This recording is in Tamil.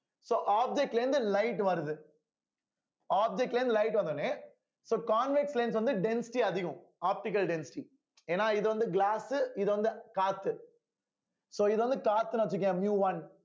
so object ல இருந்து light வருது object ல இருந்து light வந்தவுடனே so convex lens வந்து density அதிகம் optical density ஏன்னா இது வந்து glass உ இது வந்து cost so இது வந்து காத்துன்னு வச்சுக்கோயேன் miu one